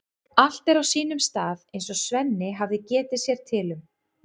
Allt er á sínum stað eins og Svenni hafði getið sér til um.